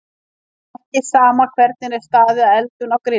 Það er ekki sama hvernig er staðið að eldun á grilli.